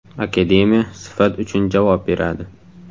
Akademiya sifat uchun javob beradi.